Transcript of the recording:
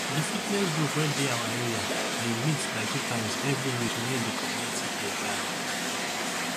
the fitness group wey dey our area dey meet like two times every week near de community playground